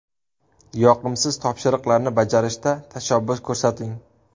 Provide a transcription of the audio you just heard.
Yoqimsiz topshiriqlarni bajarishda tashabbus ko‘rsating.